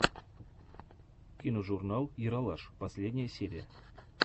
киножурнал ералаш последняя серия